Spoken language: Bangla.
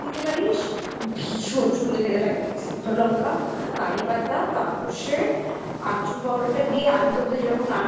ভীষণ সুন্দর খেতে লাগবে একটু শুকনো লঙ্কা কারিপাতা কালো সর্ষে আমচুর powder টা দিয়ে আলুরদমটা যেরকম রান্না সেরকম করবি just awesome খেতে লাগে ভীষণই সুন্দর